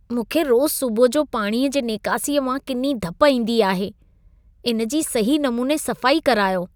मूंखे रोज़ सुबुह जो पाणीअ जी नेकासीअ मां किनी धप ईंदी आहे। इन्हे जी सही नमूने सफ़ाई करायो।